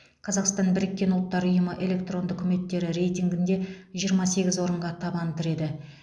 қазақстан біріккен ұлттар ұйымы электронды үкіметтері рейтингінде жиырма сегіз орынға табан тіреді